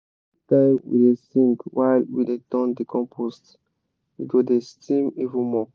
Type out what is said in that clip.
anytime we dey sing while we dey turn the compost e go dey steam even more.